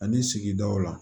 Ani sigidaw la